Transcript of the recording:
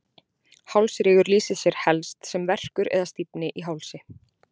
hálsrígur lýsir sér helst sem verkur eða stífni í hálsi